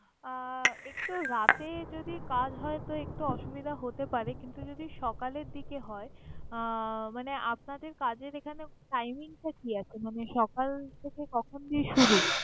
আহ একটু রাতে যদি কাজ হয় তো একটু অসুবিধা হতে পারে কিন্তু যদি সকালের দিকে হয় আহ মানে আপনাদের কাজের এখানে sign in টা কি আসলে সকাল থেকে কখন দিকে শুরু?